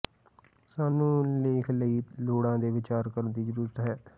ਸਾਨੂੰ ਲੇਖ ਲਈ ਲੋੜਾਂ ਤੇ ਵਿਚਾਰ ਕਰਨ ਦੀ ਜ਼ਰੂਰਤ ਹੈ